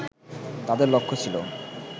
তাদের লক্ষ্য ছিল